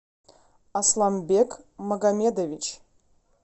асламбек магомедович